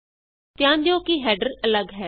ਧਿਆਨ ਦਿਉ ਕਿ ਹੈਡਰ ਅੱਲਗ ਹੈ